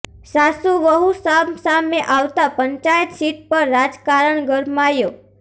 સાસુ વહુ સામ સામે આવતા પંચાયત સીટ પર રાજકારણ ગરમાયો